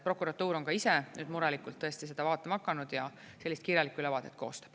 Prokuratuur on ka ise nüüd murelikult tõesti seda vaatama hakanud ja sellist kirjalikku ülevaadet koostab.